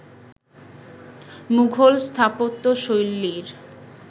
Mughal স্থাপত্যশৈলীর